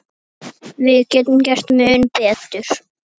Tún á hinn bóginn.